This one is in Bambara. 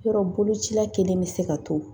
Yɔrɔ bolocila kelen bɛ se ka to